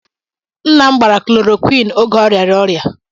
Nna m gbara klorokwin oge ọ rịara ọrịa.